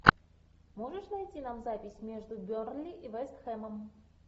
можешь найти нам запись между бернли и вест хэмом